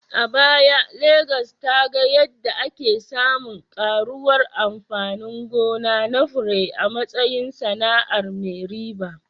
A baya, Legas ta ga yadda ake samun ƙaruwar amfani gona na fure a matsayin sana’ar mai riba